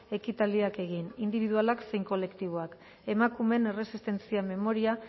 ekitaldiak egin indibidualak zein kolektiboak emakumeen erresistentzia memoria